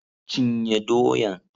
Cinye doyan!